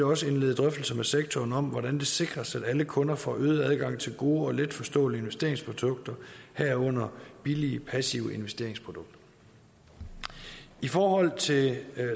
også indlede drøftelser med sektoren om hvordan det sikres at alle kunder får øget adgang til gode og letforståelige investeringsprodukter herunder billige passive investeringsprodukter i forhold til